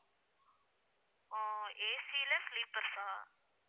அஹ் AC ல sleepers ஆ